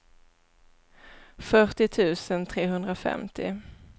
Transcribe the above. fyrtio tusen trehundrafemtio